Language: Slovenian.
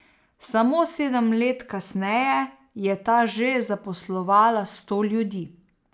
Samo sedem let kasneje je ta že zaposlovala sto ljudi.